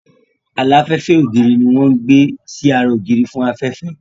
Aláfẹ́fẹ́ ògiri ní wọ́n ń gbé sí ara ògiri fún afẹ́fẹ́